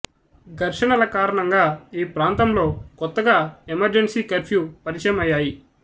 ఘర్షణల కారణంగా ఈ ప్రాంతంలో కొత్తగా ఎమర్జెంసీ కర్ఫ్యూ పరిచయం అయ్యాయి